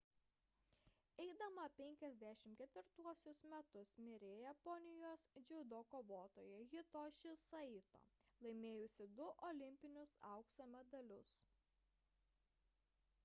eidama 54 metus mirė japonijos dziudo kovotoja hitoshi saito laimėjusi du olimpinius aukso medalius